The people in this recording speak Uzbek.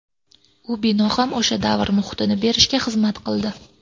U bino ham o‘sha davr muhitini berishga xizmat qildi.